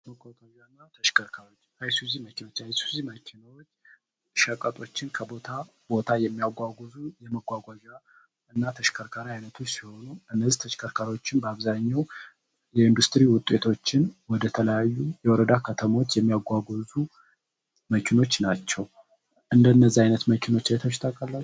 የአይሱዚ መኪናዎች እነዚህ ተሽከርካሪ ሸቀቶችን ከቦታ ቦታ የሚያጓጉዞ የመቋቋም እና ተሽከርካሪ አይነቶችም በአብዛኛው ውጤቶችን ወደ ተለያዩ የወረዳ ከተሞች የሚያጓዙ መኪናዎች ናቸው። እንደዚህ አይነት መኪናዎች አይታቹህ ታዉቃላቹህ?